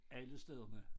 Alle stederne